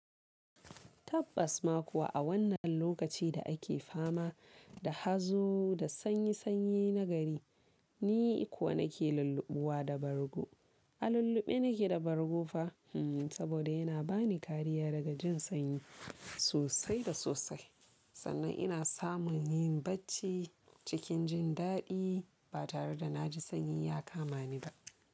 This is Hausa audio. Tabbas ma kuwa a wannan lokaci da ake fama da hazo da sanyi-sanyi na gari, ni kuwa nake lulluɓuwa da bargo. A lulluɓe nake da bargo fa? Hmm, saboda yana ba ni kariya daga jin sanyi, sosai da sosai, sannan ina samun yin bacci cikin jin daɗi ba tare da na ji sanyi ya kama ni ba.